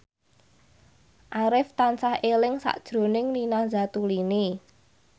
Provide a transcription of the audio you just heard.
Arif tansah eling sakjroning Nina Zatulini